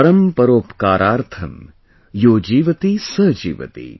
Paramparopkarathram, yojeevatisajeevati ||